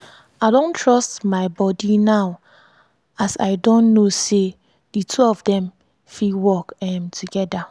i don trust my body now as i don know say di two of dem fit work um togeda.